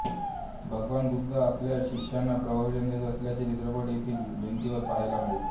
भगवान बुद्ध आपल्या शिष्यांना प्रवचन देत असल्याचे चित्रपट येथील भिंतीवर पहायला मिळते